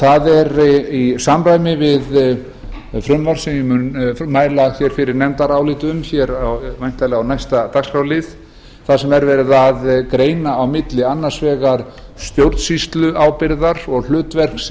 það er í samræmi við frumvarp sem ég mun mæla hér fyrir í nefndaráliti um hér væntanlega á næsta dagskrárlið þar sem er verið að greina á milli annars vegar stjórnsýsluábyrgðar og hlutverks